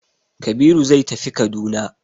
Kabiru zai tafi Kaduna.